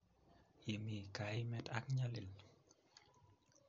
Ye mi ka-iimet ak nyalil